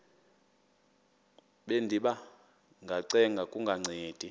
bendiba ngacenga kungancedi